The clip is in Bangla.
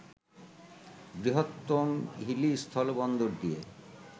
বৃহত্তম হিলি স্থলবন্দর দিয়ে